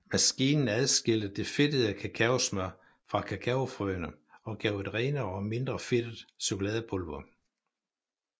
Maskinen adskilte det fedtede kakaosmør fra kakaofrøene og gav et renere og mindre fedtet chokoladepulver